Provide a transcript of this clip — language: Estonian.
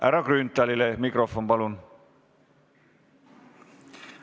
Härra Grünthalile mikrofon, palun!